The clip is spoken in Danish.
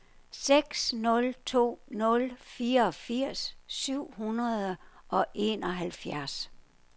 seks nul to nul fireogfirs syv hundrede og enoghalvfjerds